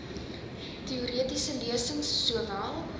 teoretiese lesings sowel